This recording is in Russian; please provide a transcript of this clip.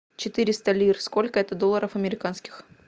четыреста лир сколько это долларов американских